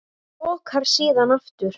Lokar síðan aftur.